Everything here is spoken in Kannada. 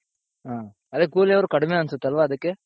ಹ ಅದೇ ಕೂಲಿ ಅವ್ರು ಕಡ್ಮೆ ಅನ್ಸುತ್ತಲ್ವ ಅದಕ್ಕೆ.